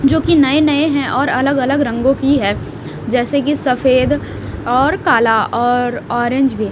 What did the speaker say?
जोकि नए नए हैं और अलग अलग रंगों की है जैसे कि सफेद और काला और ऑरेंज भी --